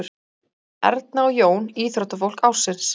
Erna og Jón íþróttafólk ársins